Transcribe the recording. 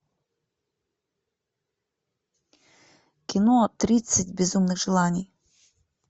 кино тридцать безумных желаний